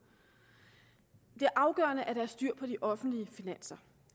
det er afgørende at der er styr på de offentlige finanser